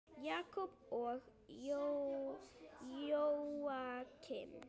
Jakob og Jóakim.